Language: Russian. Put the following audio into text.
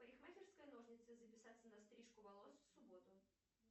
парикмахерская ножницы записаться на стрижку волос в субботу